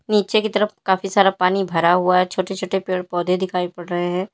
नीचे की तरफ काफी सारा पानी भरा हुआ है छोटे छोटे पेड़ पौधे दिखाई पड़ रहे हैं।